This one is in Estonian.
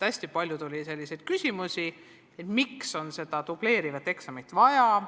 Hästi palju tuli selliseid küsimusi, et miks seda dubleerivat eksamit on vaja.